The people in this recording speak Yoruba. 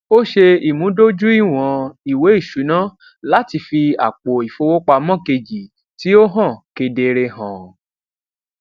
ó ṣe ìmúdójúìwọn ìwé ìṣúná láti fi àpò ìfowópamọ kejì tí ó hàn kedere hàn